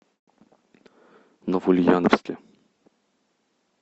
новоульяновске